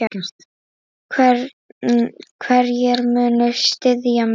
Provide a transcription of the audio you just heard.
Hverjir munu styðja mig?